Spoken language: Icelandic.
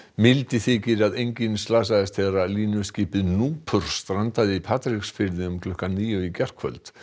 mildi þykir að enginn slasaðist þegar línuskipið núpur strandaði í Patreksfirði um klukkan níu í gærkvöld